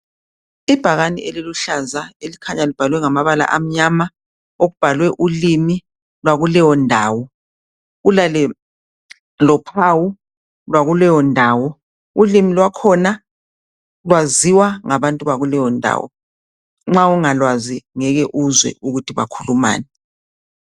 Ibhakane eliluhlaza elikhanya libhalwe ngamabala amnyama okubhalwe ulimi lwakuleyo ndawo lophawo lwakuleyo ndawo ulimi lwakhona lwaziwa ngabantu bakuleyo ndawo nxa ungalwazi ngeke uzwe ukuthi bakhuluma ngani